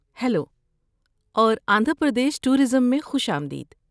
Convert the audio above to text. Hello اور Andhra Pradesh tourism میں خوش آمدید۔